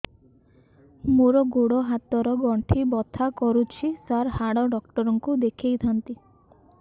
ମୋର ଗୋଡ ହାତ ର ଗଣ୍ଠି ବଥା କରୁଛି ସାର ହାଡ଼ ଡାକ୍ତର ଙ୍କୁ ଦେଖାଇ ଥାନ୍ତି